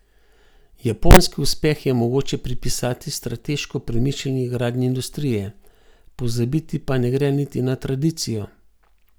Japonski uspeh je mogoče pripisati strateško premišljeni gradnji industrije, pozabiti pa ne gre niti na tradicijo.